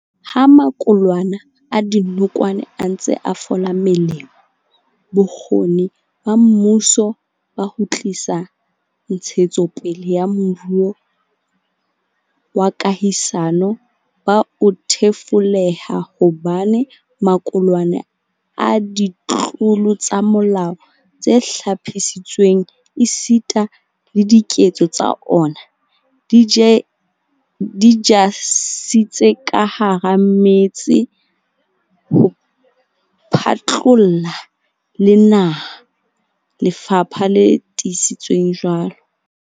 "Ha maqulwana a dinokwane a ntse a fola melemo, bokgoni ba mmuso ba ho tlisa ntshetsopele ya moruo wa kahisano bo a thefuleha hobane maqulwana a ditlolo tsa molao tse hlophisitsweng esita le diketso tsa ona, di ja setsi ka hara metse ho phatlalla le naha," lefapha le tiisitse jwalo.